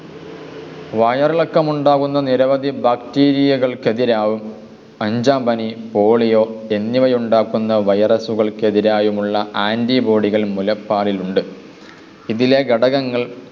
വയറിളക്കമുണ്ടാവുന്ന നിരവധി ബാക്റ്റീരിയകൾക്കു എതിരാവും അഞ്ചാം പനി പോളിയോ എന്നിവയുണ്ടാക്കുന്ന വൈറസുകൾക്കു എതിരായുമുള്ള ആന്റിബോഡികൾ മുലപ്പാലിലുണ്ട്. ഇതിലെ ഘടകങ്ങൾ